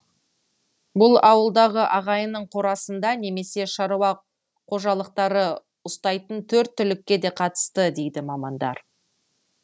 бұл ауылдағы ағайынның қорасында немесе шаруа қожалықтары ұстайтын төрт түлікке де қатысты дейді мамандар